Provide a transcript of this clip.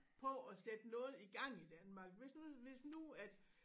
På at sætte noget i gang i Danmark hvis nu hvis nu at